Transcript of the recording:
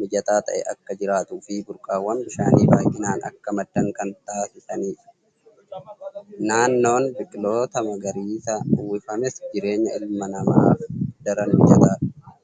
mijataa ta'e akka jiraatuu fi burqaawwan bishaanii baay'inaan akka maddan kan taasisanidha. Naannoon biqiltoota magariisaan uwwifames jireenya ilma namaaf daran mijataadha.